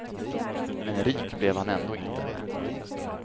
Men rik blev han ändå inte.